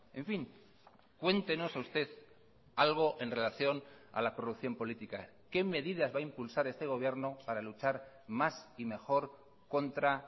en fin cuéntenos usted algo en relación a la corrupción política qué medidas va a impulsar este gobierno para luchar más y mejor contra